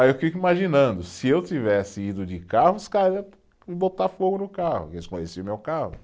Aí eu fico imaginando, se eu tivesse ido de carro, os cara botar fogo no carro, porque eles conheciam o meu carro.